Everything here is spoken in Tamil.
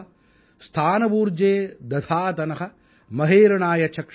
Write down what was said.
ஸ்தான ஊர்ஜே ததாதன மஹேரணாய சக்ஷஸே